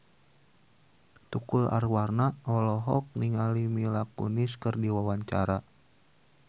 Tukul Arwana olohok ningali Mila Kunis keur diwawancara